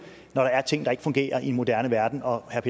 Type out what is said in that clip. når der er ting der ikke fungerer i en moderne verden og herre